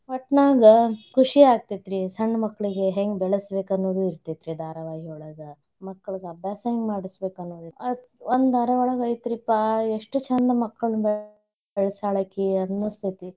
ಒಟ್ ನಾಗ ಖುಷಿ ಅಗ್ತೇತ್ರಿ, ಸಣ್ ಮಕ್ಳಿಗೆ ಹೆಂಗ್ ಬೆಳ್ಸಬೇಕ ಅನ್ನೋದ್ ಇರ್ತೇತಿ ಧಾರಾವಾಹಿಯೊಳಗ. ಮಕ್ಳಗೆ ಅಭ್ಯಾಸಾ ಹೆಂಗ ಮಾಡ್ಸಬೇಕ್ ಅನ್ನೋದು. ಆ ಒಂದ್ ಧಾರಾವಾಹಿಯೊಳ್ಗ ಐತ್ರಿಪಾ ಎಷ್ಟ್ ಛಂದ ಮಕ್ಳನ್ ಬೆಳ್ಸ್ಯಾಳಕಿ ಅನ್ಸತೇತಿ.